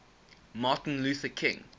martin luther king